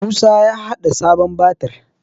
Musa ya haɗa sabon batir